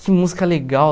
Que música legal!